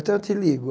Então, eu te ligo.